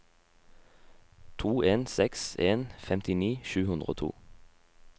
to en seks en femtini sju hundre og to